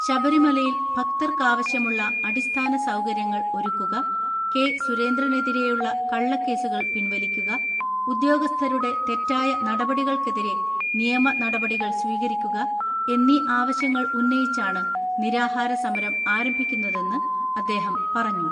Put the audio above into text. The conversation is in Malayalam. ശബരിമലയിൽ ഭക്തർക്കാവശ്യമുള്ള അടിസ്ഥാന സൗകര്യങ്ങൾ ഒരുക്കുക, കെ സുരേന്ദ്രനെതിരെയുള്ള കള്ളക്കേസുകൾ പിൻവലിക്കുക, ഉദ്യോഗസ്ഥരുടെ തെറ്റായ നടപടികൾക്കെതിരെ നിയമ നടപടികൾസ്വീകരിക്കുക എന്നീ ആവശ്യങ്ങൾ ഉന്നയിച്ചാണ് നിരാഹാര സമരം ആരംഭിക്കുന്നതെന്ന് അദ്ദേഹം പറഞ്ഞു.